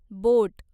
बोट